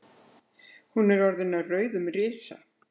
Hún er orðin að rauðum risa.